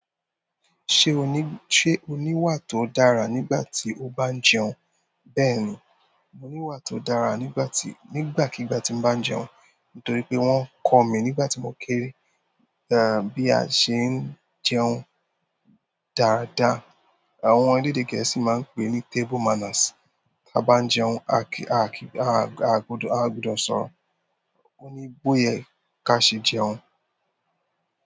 Se oni se o ni ìwà to dára nígbà ti o ban jẹun? Bẹ́ẹ̀ni, mo ní wà tó dára nígbà tí, nígbàkigbà tí mo bá ń jẹun. Nítorí pé wọ́n kọ̀ mí nígbà tí mo kéré, bí a ṣé ń jẹun dáadáa. Àwọn eledè Gẹ̀ẹ́sì máa ń pè é ní "table manners." Tí a bá ń jẹun, a kì í, a kò, a gbọdọ̀ ṣọ́ro. Ó ní bóyè ká sẹ́ jẹun.